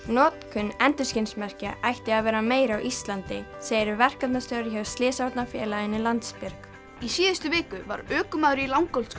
notkun endurskinsmerkja ætti að vera meiri á Íslandi segir verkefnastjóri hjá slysavarnarfélaginu Landsbjörg í síðustu viku var ökumaður í